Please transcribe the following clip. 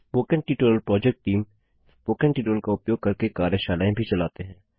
spoken tutorial project team spoken tutorial का उपयोग करके कार्यशालाएँ भी चलाते हैं